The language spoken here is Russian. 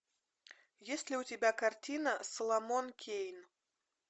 есть ли у тебя картина соломон кейн